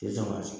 tɛ sɔn ka se